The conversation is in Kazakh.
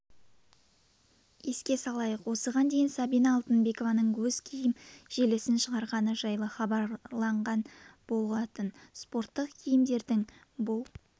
еске салайық осыған дейін сабина алтынбекованың өз киім желісін шығарғаны жайлы хабарланған болатын спорттық киімдердің бұл